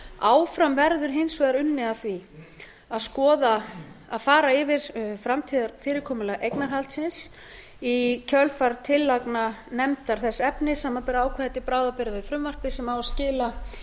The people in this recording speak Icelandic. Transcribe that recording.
áfram verður hins vegar unnið að því að fara yfir framtíðarfyrirkomulag eignarhaldsins í kjölfar tillagna nefndar þess efnis samanber ákvæði til bráðabirgða við frumvarpið sem á að skila